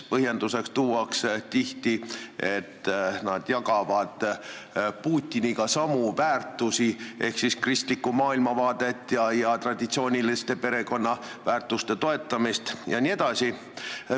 Põhjenduseks tuuakse tihti, et nad jagavad Putiniga samu väärtushinnanguid ehk siis toetavad kristlikku maailmavaadet ja traditsioonilisi pereväärtusi jms.